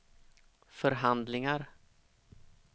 förhandlingar